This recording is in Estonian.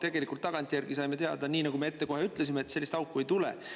Tegelikult tagantjärgi saime teada, nii nagu me ette kohe ütlesime, et sellist auku ei tule.